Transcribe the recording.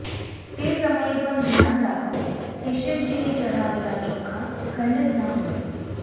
તે સમયે પણ ધ્યાન રાખો કે શિવજીને ચઢાવેલા ચોખા ખંડિત ન હોય